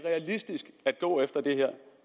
realistisk at gå efter det her